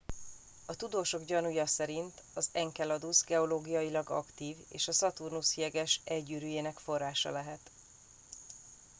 a tudósok gyanúja szerint az enceladus geológiailag aktív és a szaturnusz jeges e gyűrűjének forrása lehet